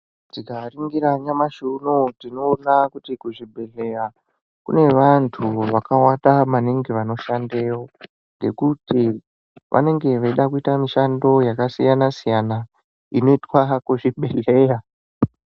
Tikaningira nyamashi unonuyu tinoona kuti kuzvibhedhlera kune vantu vakawanda maningi vanoshandeyo ngekuti vanenge veida kuita mishando yakasiyana siyana inoitwa kuzvibhedhleya.